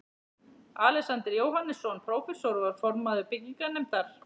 Alexander Jóhannesson, prófessor, var formaður byggingarnefndar